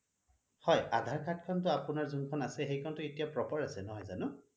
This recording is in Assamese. হয় আধাৰ card খন টো আপোনাৰ যোন খন আছে সেইখন টো এতিয়া proper আছে নহয় জানো